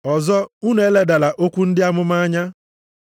Ọzọ unu eledala okwu ndị amụma anya.